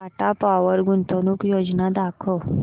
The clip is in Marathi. टाटा पॉवर गुंतवणूक योजना दाखव